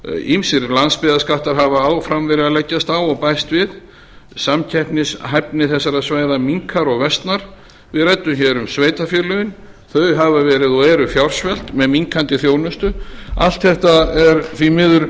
ýmsir landsbyggðarskattar hafa áfram verið að leggjast á og bæst við samkeppnishæfni þessara svæða minnkar og versnar við ræddum hér um sveitarfélögin þau hafa verið og eru fjársvelt með minnkandi þjónustu allt þetta er því miður